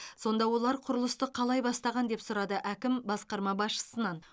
сонда олар құрылысты қалай бастаған деп сұрады әкім басқарма басшысынан